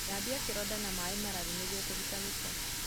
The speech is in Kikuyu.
Thambia kĩronda na maĩ mararu nĩguo kũruta gĩko.